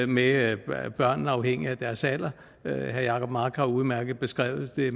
med børnene afhængig af deres alder herre jacob mark har udmærket beskrevet det